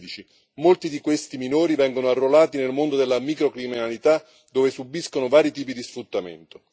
2016 molti di questi minori vengono arruolati nel mondo della microcriminalità dove subiscono vari tipi di sfruttamento.